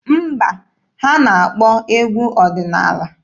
Mba, ha na-akpọ egwu ọdịnaala.